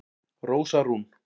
Rósa Rún